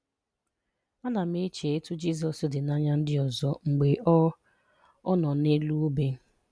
Ana m eche etu Jizọs dị n'anya ndị ọzọ mgbe ọ ọ nọ n'elu obe.